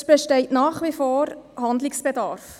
Es besteht nach wie vor Handlungsbedarf.